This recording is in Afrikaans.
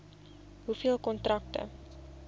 hoeveel kontrakte